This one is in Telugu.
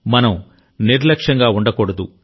మనం నిర్లక్ష్యంగా ఉండకూడదు